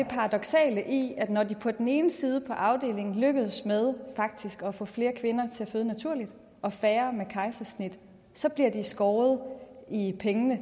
paradoksale i at når de på den ene side på afdelingen lykkes med faktisk at få flere kvinder til at føde naturligt og færre med kejsersnit så bliver de skåret i pengene